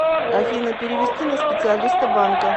афина перевести на специалиста банка